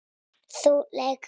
Þú lýgur.